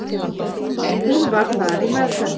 Hún var þar í meðferð.